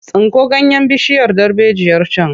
Tsinko ganyen bishiyar darbejiyar can!